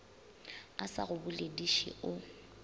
a sa go bolediše o